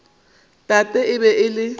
tate e be e le